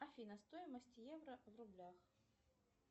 афина стоимость евро в рублях